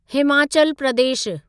Himachal Pradesh